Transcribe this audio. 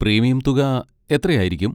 Premium തുക എത്രയായിരിക്കും?